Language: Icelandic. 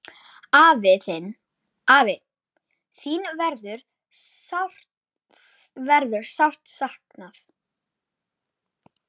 Afi, þín verður sárt saknað.